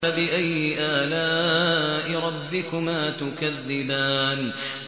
فَبِأَيِّ آلَاءِ رَبِّكُمَا تُكَذِّبَانِ